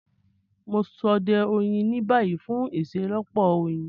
Mo n sode oyin ni bayi fun iṣelọpọ oyin.